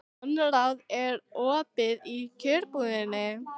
Konráð, er opið í Kjörbúðinni?